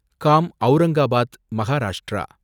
com Aurangabad Maharashtra